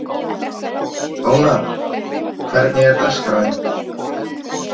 Ónarr, hvernig er dagskráin?